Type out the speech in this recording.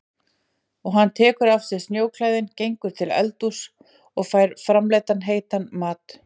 Og hann tekur af sér snjóklæðin, gengur til eldhúss og fær framreiddan heitan mat.